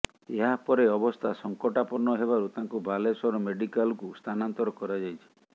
ଏହାପରେ ଅବସ୍ଥା ସଂକଟାପନ୍ନ ହେବାରୁ ତାଙ୍କୁ ବାଲେଶ୍ୱର ମେଡିକାଲ୍କୁ ସ୍ଥାନାନ୍ତର କରାଯାଇଛି